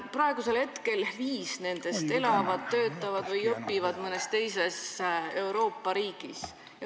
Praegu viis nendest elavad, töötavad või õpivad mõnes teises Euroopa riigis.